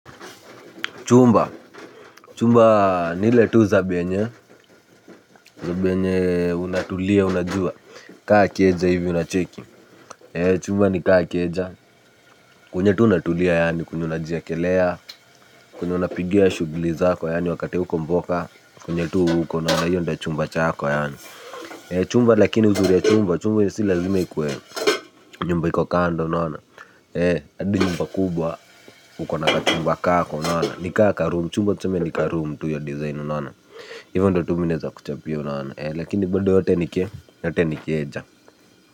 Chumba, chumba ni ile tu zabe yenye, zab yenye unatulia, unajua, kaa keja hivi unacheki, chumba ni kaa keja, kwenye tu unatulia yani kwenye unajiekelea, kwenye unapigia shughli zako yaani wakati hauko mboka, kwenye tu uko yaani hiyo ndio chumba chako yani. Chumba lakini uzuri ya chumba, chumba si lazima ikuwe, nyumba iko kando unaona, hadi nyumba kubwa, hukuwa na kachumba kako unaona, ni kaa ka room, chumba tuseme ni karoom tu hio design unaona hivyo ndio tu mi naweza kuchampia unaona lakini bado yote ni keja.